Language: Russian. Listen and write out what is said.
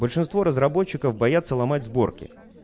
большинство разработчиков боятся ломать сборки